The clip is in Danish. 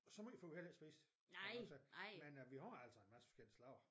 Og så meget for vi heller ikke spist skal jeg nok sige men vi har altså en masse forskellige slags